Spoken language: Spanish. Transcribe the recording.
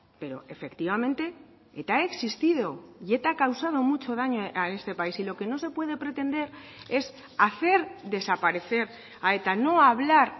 pero efectivamente eta ha existido y eta ha causado mucho daño a este país y lo que no se puede pretender es hacer desaparecer a eta no hablar